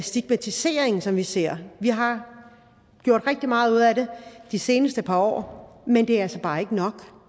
stigmatisering som vi ser vi har gjort rigtig meget ud af det de seneste par år men det er altså bare ikke nok for